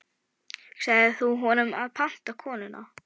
Sagðir þú honum að panta konuna?